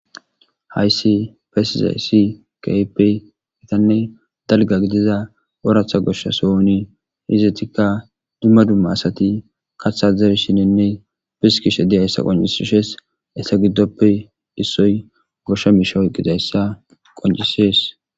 Hayssi besizayssi keehippe gitanne dalga gidiza oratha goshsha sohoni izetikka dumma dumma asati kaththa zerishinenne piskishe de'iyaysa qoncisishe essa giddoppe issoy goshsha miishay oykkidayssa qoncisees.